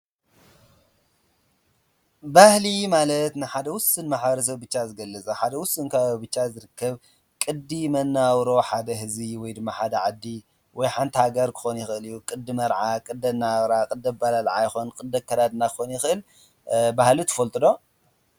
ባህሊ ማለትንሐደ ዉሱን ማሕበረ ሰብ ዝገልፅ እዩ። ንሓደ ውሱን ከባቢ ብቻ ዝርከብ ቅዲ መናባብሮ ሓደ ህዝቢ ወይ ድማ ሓደ ዓዲ ወይ ሓንቲ ሃገር ክኮን ክኮን ይክእል እዩ። ቅዲ መርዓ፣ ቅዲ አነባብራ፣ ቅዲ ኣበላላዓ ፣ቅዲ ኣከዳድና ክኮን ይክእል ። ባህሊ ትፈልጡ ዶ?